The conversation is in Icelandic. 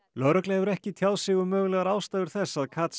lögregla hefur ekki tjáð sig um mögulegar ástæður þess að